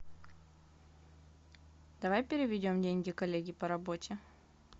давай переведем деньги коллеге по работе